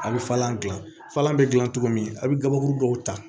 A' bɛ falen falen bɛ gilan cogo min a bɛ gabakuru dɔw ta